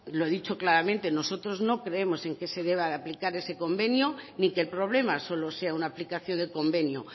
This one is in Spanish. lo he dicho claramente nosotros no creemos en que se deba de aplicar ese convenio ni que el problema solo sea una aplicación del convenio